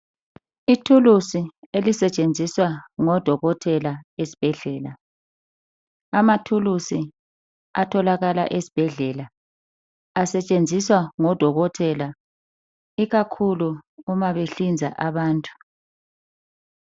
Ithulusi elisetshenziswa ngodokotela esbhedlela. Amathulusi atholakala esbhedlela asetshenziswa ngodokotela, ikakhulu uma behlinza abantu.